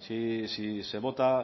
si se vota